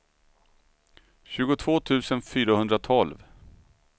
tjugotvå tusen fyrahundratolv